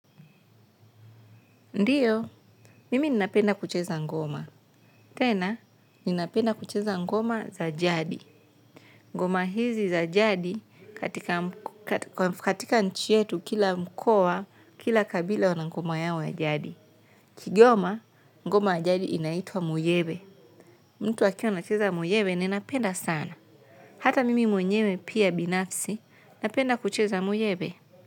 Ndiyo, mimi ninapenda kucheza ngoma. Tena, ninapenda kucheza ngoma za jadi. Ngoma hizi za jadi katika nchi yetu kila mkoa, kila kabila wana ngoma yao ya jadi. Kigoma, ngoma ya jadi inaitwa muyebe. Mtu akiwa anacheza muyebe ninapenda sana. Hata mimi mwenyewe pia binafsi, napenda kucheza muyebe.